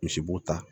Misi b'o ta